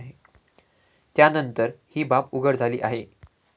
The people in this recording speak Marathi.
त्यानंतर ही बाब उघड झाली आहे.